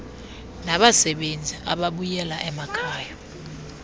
nabasebenzi ababuyela emakhayeni